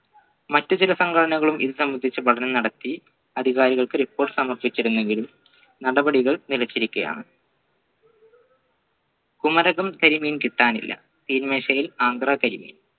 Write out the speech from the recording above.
മറ്റു ചില സംഘടനകളും ഇതു സംബന്ധിച്ച് പഠനം നടത്തി അധികാരികൾക്ക് report സമർപ്പിച്ചിരുന്നെങ്കിലും നടപടികൾ നിലച്ചിരിക്കുകയാണ് കുമരകം കരിമീൻ കിട്ടാനില്ല തീൻമേശയിൽ ആന്ധ്ര കരിമീൻ